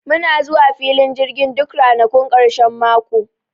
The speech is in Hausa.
Muna zuwa filin jirgin duk ranakun ƙarshen mako